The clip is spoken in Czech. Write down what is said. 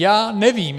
Já nevím.